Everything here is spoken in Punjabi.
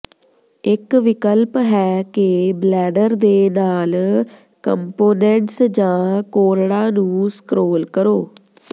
ਇੱਕ ਵਿਕਲਪ ਹੈ ਕਿ ਬਲੈਡਰ ਦੇ ਨਾਲ ਕੰਪੋਨੈਂਟਸ ਜਾਂ ਕੋਰੜਾ ਨੂੰ ਸਕ੍ਰੌਲ ਕਰੋ